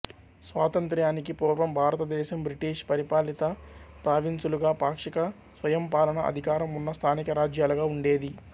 స్వాతంత్ర్యానికి పూర్వం భారతదేశం బ్రిటీష్ పరిపాలిత ప్రావిన్సులుగా పాక్షిక స్వయంపాలన అధికారం ఉన్న స్థానిక రాజ్యాలుగా ఉండేది